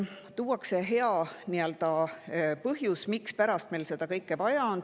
Tuuakse hea põhjus, mispärast meil seda kõike vaja on.